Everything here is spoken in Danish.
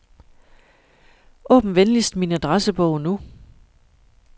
Åbn venligst min adressebog nu.